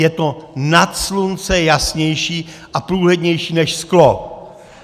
Je to nad slunce jasnější a průhlednější než sklo!